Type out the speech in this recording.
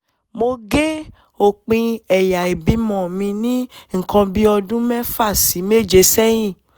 mo gé òpin ẹ̀yà ìbímọ mi ní nǹkan bí ọdún mẹ́fà sí méje sẹ́yìn